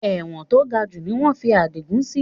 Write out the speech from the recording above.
Ẹ̀wọ̀n to gajù ni wọn fi adigun sì